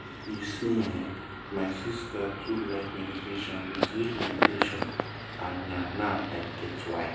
you see eh my sister too like meditation with real meditation and na now i get why.